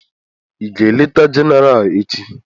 Ị ga-eleta Jenéral echi?